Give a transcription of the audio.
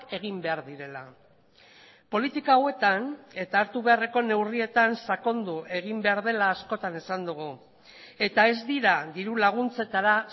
egin behar direla politika hauetan eta hartu beharreko neurrietan sakondu egin behar dela askotan esan dugu eta ez dira diru laguntzetara